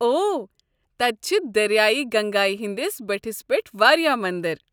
اوہ، تتہِ چھِ دٔریاے گنگایہ ہندِس بٔٹھس پٮ۪ٹھ واریاہ مندر۔